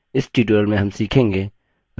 इस tutorial में हम सीखेंगे